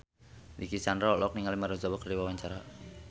Dicky Chandra olohok ningali Maria Ozawa keur diwawancara